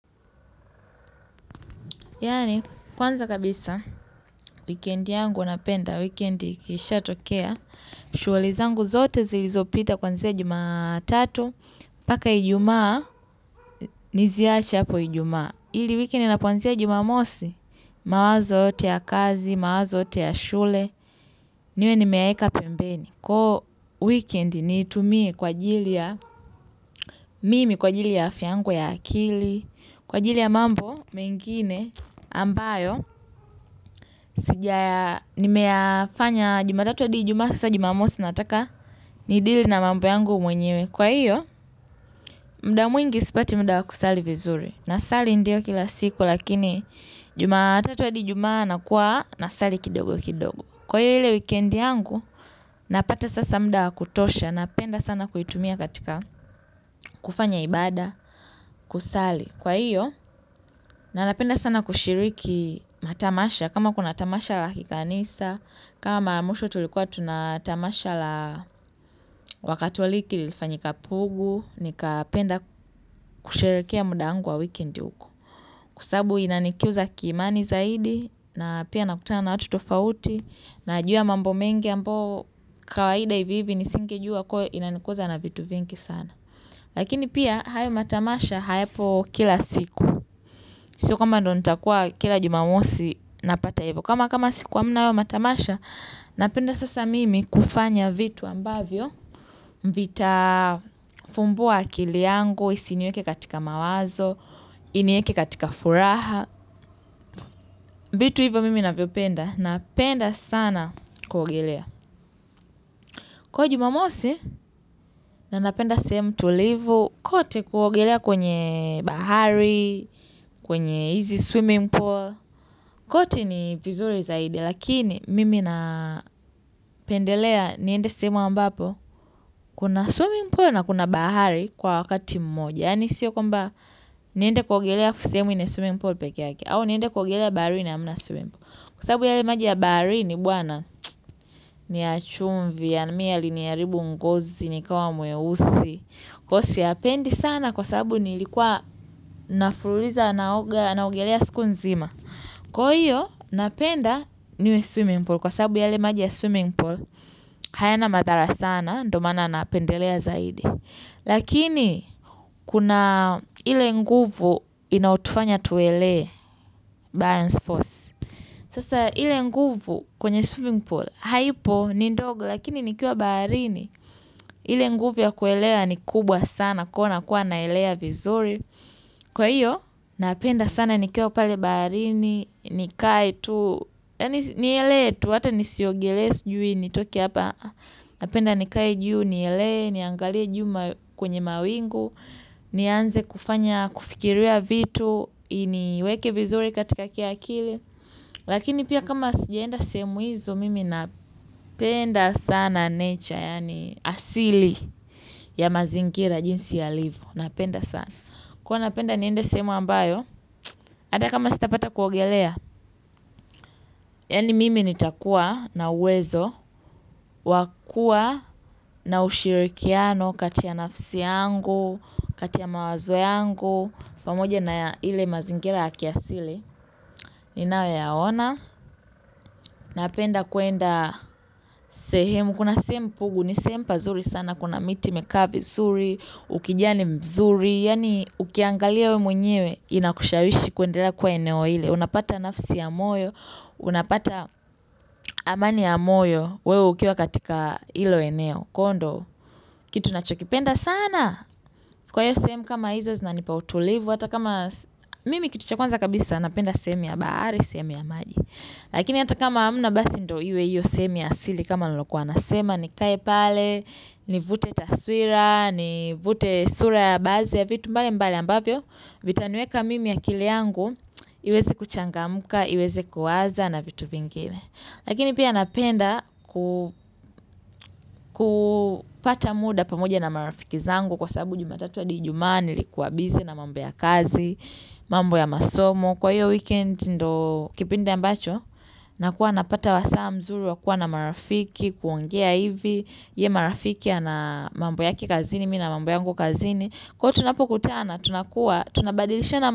Yani, kwanza kabisa, weekend yangu huwa napenda, weekend ikishatokea, shughuli zangu zote zilizo pita kwanzia jumatatu, mpaka ijumaa, niziache hapo ijumaa. Ili weekend inapo aanzia jumamosi, mawazo yote ya kazi, mawazo yote ya shule, niwe nimeeka pembeni. Kwa hiyo weekend niitumie kwa ajili ya mimi kwa ajili ya afya yangu ya akili, kwa ajili ya mambo mengine ambayo, nimeyafanya jumatatu hadi ijumaaa, sasa jumamosi nataka, ni dili na mambo yangu mwenyewe. Kwa hiyo muda mwingi sipati muda kusali vizuri. Nasali ndio kila siku lakini jumatatu hadi ijumaaa nakuwa nasali kidogo kidogo. Kwa ile weekend yangu napata sasa muda wa kutosha. Napenda sana kuitumia katika kufanya ibada kusali. Kwa hiyo na napenda sana kushiriki matamasha. Kama kuna tamasha la kikanisa kama mara mwisho tulikuwa tuna tamasha la wakatoliki lifanyika pugu nikapenda kusherehekea muda wangu wa weekend uko. Kwa sababu inanikuza kiimani zaidi na pia nakutana na watu tofauti nayajua mambo mengi ambayo kawaida hivi hivi nisinge jua kwa hiyo inanikuza na vitu vingi sana. Lakini pia hayo matamasha hayapo kila siku. Sio kama ndo nitakuwa kila jumamosi napata hivo. Kama kama siku hamna hayo matamasha napenda sasa mimi kufanya vitu ambavyo vita fumbua akili yangu, isiniweke katika mawazo, inieke katika furaha vitu hivyo mimi ninavyopenda, napenda sana kuogelea. Kwa hiyo jumamosi, na napenda sehemu tulivu kote kuogelea kwenye bahari, kwenye hizi swimming pool. Kote ni vizuri zaidi, lakini mimi napendelea niende sehemu ambapo kuna swimming pool na kuna bahari kwa wakati mmoja. Yani siyo kwamba niende kuogelea sehemu ina swimming pool peki yake. Au niende kwa ugelea bari ni amuna swimming pool. Kwa sabu yale maji ya baharini bwana ni ya chumvi yaani mi yaliniharibu ngozi nikawa mweusi. Kwa hiyo siyapendi sana kwa sababu nilikuwa na fululiza naogelea siku nzima. Kwa hiyo napenda niwe swimming pool. Kwa sababu yale maji ya swimming pool hayana mathara sana ndo maana napendelea zaidi. Lakini kuna ile nguvu inayotufanya tuwele balance force, sasa ile nguvu kwenye swimming pool haipo ni ndogo lakini nikiwa baharini ile nguvu ya kuelea ni kubwa sana kwa hiyo nakuwa naelea vizuri, kwa hiyo napenda sana nikiwa baharini yaani nikae tu. Nielee tu hata nisiogelee sijui nitoke hapa. Napenda nikae juu nielee. Niangalie juu kwenye mawingu. Nianze kufanya kufikiria vitu. Iniweke vizuri katika kia akili. Lakini pia kama sijaenda sehemu izo mimi napenda sana nature. Yani asili ya mazingira jinsi yalivo. Napenda sana. Kwa hiyo napenda niende sehemu ambayo ata kama sitapata kuogelea yani mimi nitakuwa na uwezo wa kua na ushirikiano kati ya nafsi yangu kati ya mawazo yangu pamoja na ile mazingira ya kiasili ninayo yaona. Napenda kuenda sehemu. Kuna sehemu pugu ni sehemu pazuri sana. Kuna miti imekaa vizuri ukijani mzuri yani ukiangalia we mwenyewe ina kushawishi kuendela kuwa eneo ile. Unapata nafsi ya moyo. Unapata amani ya moyo. Wewe ukiwa katika ilo eneo kwa hiyo ndo kitu ninachokipenda sana kwa hiyo sehemu kama hizo zinanipa utulivu, mimi cha kwanza kabisa napenda sehemunya bahari au sehemu ya maji. Lakini hata kama hamna basi ndo iwe iyo sehemuya asili. Kama niliokuwa nasema nikae pale. Nivute taswira, nivute sura ya baadhi ya vitu mbali mbali ambavyo vita nieka mimi akili yangu iweze kuchangamka, iweze kuwaza na vitu vingine. Lakini pia napenda kupata muda pamoja na marafiki zangu. Kwa sababu jumatatu hadi ijumaa nilikuwa busy na mambo ya kazi. Mambo ya masomo kwa hiyo weekend ndo kipindi ambacho nakuwa napata wasaa mzuri wa kuwa na marafiki kuongea hivi, je marafiki ana mambo yake kazini nina mambo yangu kazini kwa hiyo tunapokutana tunakuwa tunabadilishana.